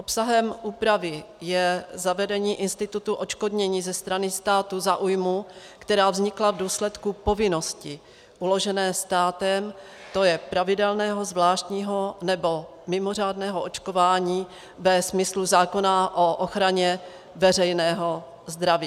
Obsahem úpravy je zavedení institutu odškodnění ze strany státu za újmu, která vznikla v důsledku povinnosti uložené státem, to je pravidelného, zvláštního nebo mimořádného očkování ve smyslu zákona o ochraně veřejného zdraví.